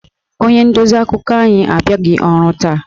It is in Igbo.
Onye ndozi akụkọ anyị abịaghị ọrụ taa